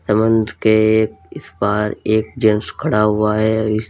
समुंद्र के इस पार एक जेंट्स खड़ा हुआ है। इस --